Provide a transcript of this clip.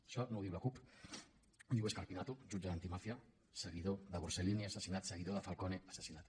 això no ho diu la cup ho diu scarpinato un jutge antimàfia seguidor de borsellino assassinat seguidor de falcone assassinat